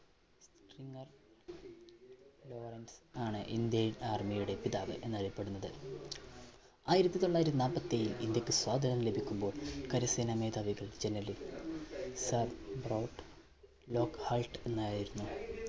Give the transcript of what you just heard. Lawrence ആണ് Indian Army യുടെ പിതാവ് എന്നറിയപ്പെടുന്നത്. ആയിരത്തി തൊള്ളായിരത്തി നാൽപ്പത്തി ഏഴിൽ ഇന്ത്യയ്ക്ക് സ്വാതന്ത്ര്യം ലഭിക്കുമ്പോൾ കരസേന മേധാവികൾ general sir ബ്രൗട്ട് ലോക്ക്ഹൾട്ട് എന്നായിരുന്നു.